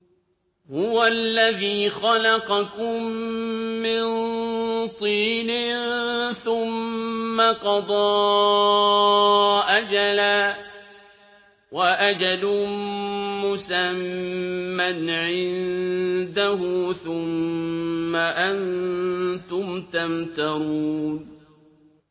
هُوَ الَّذِي خَلَقَكُم مِّن طِينٍ ثُمَّ قَضَىٰ أَجَلًا ۖ وَأَجَلٌ مُّسَمًّى عِندَهُ ۖ ثُمَّ أَنتُمْ تَمْتَرُونَ